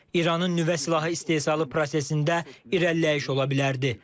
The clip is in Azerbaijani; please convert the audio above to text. İranın nüvə silahı istehsalı prosesində irəliləyiş ola bilərdi.